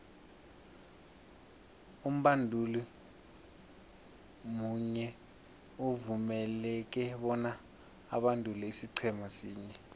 umbanduli munye uvumeleke bona abandule isiqhema sinye